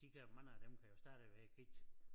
De kan mange af dem kan jo stadigvæk ikke